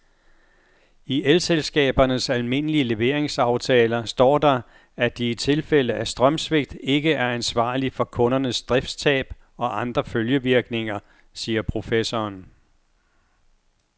I elselskabernes almindelige leveringsaftaler står der, at de i tilfælde af strømsvigt ikke er ansvarlig for kundernes driftstab og andre følgevirkninger, siger professoren.